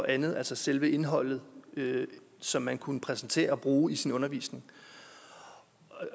og andet altså selve indholdet som man kunne præsentere og bruge i sin undervisning